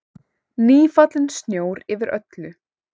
Nýfallinn snjór yfir öllu.